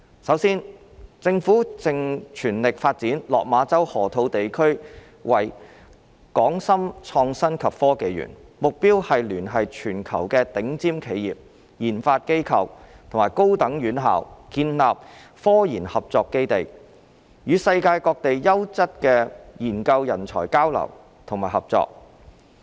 首先，政府正全力發展落馬洲河套地區為港深創新及科技園，目標是聯繫全球頂尖企業、研發機構和高等院校建立科研合作基地，與世界各地優質的研究人才交流和合作。